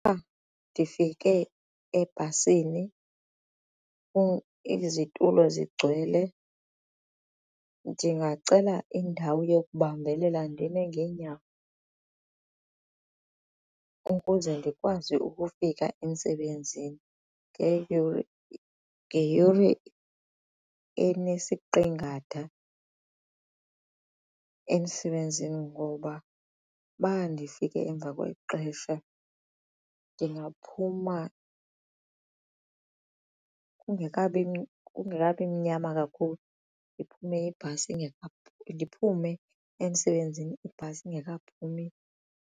ndifike ebhasini izitulo zigcwele ndingacela indawo yokubambelela ndime ngeenyawo ukuze ndikwazi ukufika emsebenzini ngeyure enesiqingatha emsebenzini ngoba uba ndifike emva kwexesha ndingaphuma kungekabi mnyama kakhulu ndiphume emsebenzini ibhasi ingekaphumi.